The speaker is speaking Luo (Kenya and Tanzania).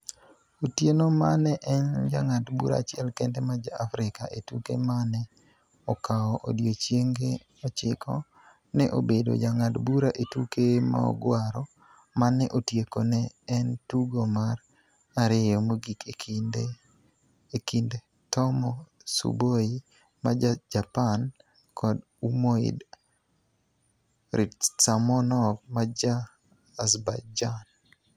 Otieno ma ne en jang'ad bura achiel kende ma ja Afrika e tuke ma ne okawo odiechienge ochiko, ne obedo jang'ad bura e tuke mogwaro, ma ne otieko ne en tugo mar ariyo mogik e kind Tomo Tsuboi ma Ja-Japan kod Umoid Rystamnov ma Ja-Azerbaijan.